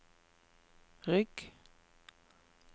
rygg